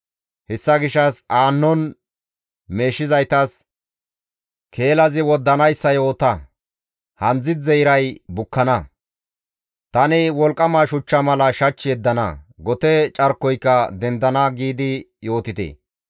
Hessa gishshas aannon meeshizaytas, ‹Keelazi woddanayssa yoota! Handzdzidze iray bukkana; tani wolqqama shuchcha mala shach yeddana; gote carkoyka dendana› giidi yootite.